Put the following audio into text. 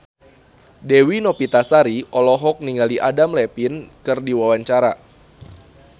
Dewi Novitasari olohok ningali Adam Levine keur diwawancara